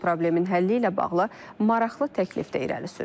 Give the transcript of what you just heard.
O problemin həlli ilə bağlı maraqlı təklifdə irəli sürüb.